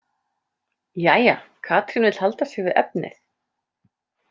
Jæja, Katrín vill halda sig við efnið.